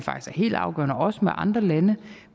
helt afgørende også med andre lande